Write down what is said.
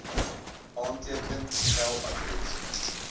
aanteken tel adres